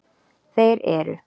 Þeir eru: